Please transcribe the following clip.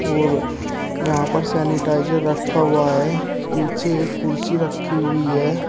और यहां पर सैनिटाइजर रखा हुआ है पीछे एक कुर्सी रखी हुई है।